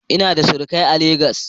Ina da surukai a Legas.